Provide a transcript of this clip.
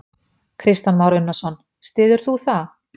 Kristján Már Unnarsson: Styður þú það?